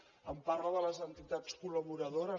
em parla de les entitats col·laboradores